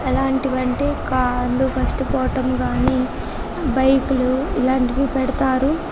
ఎలాంటివంటే కార్లు కష్ట పోవడం కానీ బైకులు ఇలాంటివి పెడతారు